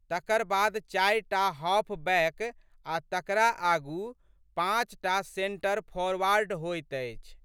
तकर बाद चारि टा हॉफ बैक आ' तकरा आगू पाँच टा सेन्टर फोरवॉर्ड होइत अछि।